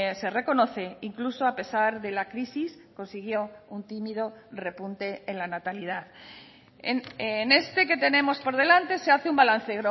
se reconoce incluso a pesar de la crisis consiguió un tímido repunte en la natalidad en este que tenemos por delante se hace un balance